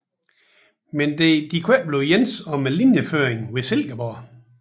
Men der kunne ikke blive enighed om linjeføringen ved Silkeborg